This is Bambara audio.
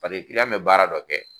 Paseke be baara dɔ kɛ